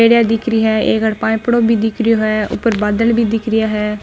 पेडिया दिख री है एक अठे पाइपडो भी दिखरो है ऊपर बादळ भी दिख रिया है।